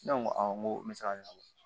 Ne ko awɔ n ko n bɛ se ka ɲanabɔ